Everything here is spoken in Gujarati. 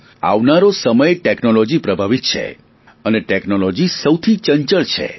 આવનારો સમય ટેકનોલોજી પ્રભાવિત છે અને ટેકનોલોજી સૌથી ચંચળ છે